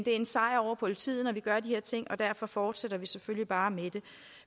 er en sejr over politiet når vi gør de her ting og derfor fortsætter vi selvfølgelig bare med det